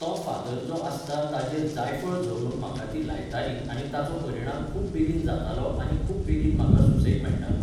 तो फातर जो आसता ताचेर जायफळ झरोवन म्हाका ती लायताली आनी ताचो परिणाम खूब बेगीन जातालो आनी खूब बेगीन म्हाका सुसेग मेळटालो